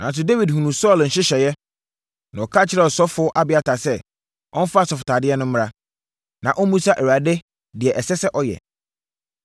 Nanso Dawid hunuu Saulo nhyehyɛeɛ, na ɔka kyerɛɛ ɔsɔfoɔ Abiatar sɛ, ɔmfa asɔfotadeɛ no mmra, na ɔmmisa Awurade deɛ ɛsɛ sɛ ɔyɛ.